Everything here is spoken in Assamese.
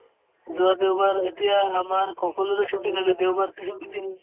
যোৱা দেওবাৰ এতিয়া আমাৰ সকলোৰে ছুটী খালী দেওবাৰতো ছুটীৰ দিন